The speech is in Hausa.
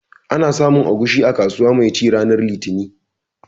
Ana samun agushi a kasuwa mai ci ranar litinin